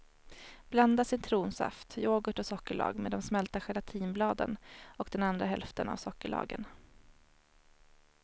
Blanda citronsaft, yoghurt och sockerlag med de smälta gelantinbladen och den andra hälften av sockerlagen.